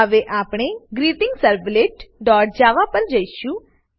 હવે આપણે greetingservletજાવા પર જશું